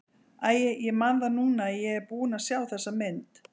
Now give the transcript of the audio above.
Æi, ég man það núna að ég er búinn að sjá þessa mynd.